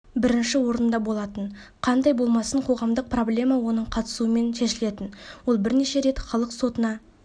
бірінші орында болатын қандай болмасын қоғамдық проблема оның қатысуымен шешілетін ол бірнеше рет халық сотына